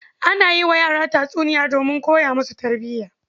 Ana yi wa yara tatsiniya donmin koya musu tarbiya.